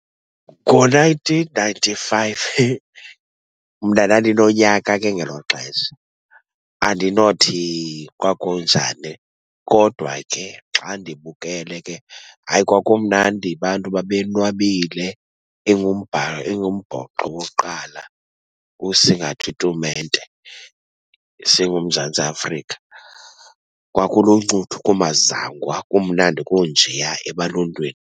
Ngo-nineteen ninety-five, heh, mna ndandinonyaka ke ngelo xesha. Andinothi kwakunjani kodwa ke xa ndibukele ke, hayi kwakumnandi abantu babenwabile, ingumbhoxo okokuqala ukusingatha itumente singuMzantsi Afrika. Kwakuluncuthu kumazangwa, kumnandi kunjeya ebaluntwini.